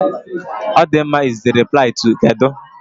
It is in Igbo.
"Ọdịmma" is the reply to "kedụ?"